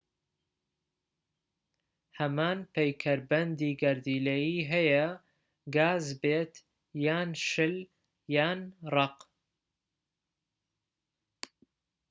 هەمان پەیکەربەندی گەردیلەیی هەیە گاز بێت یان شل یان ڕەق